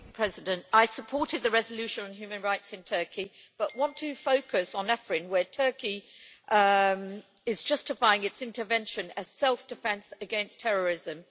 Mr President, I supported the resolution on human rights in Turkey, but I want to focus on Afrin, where Turkey is justifying its intervention as self defence against terrorism.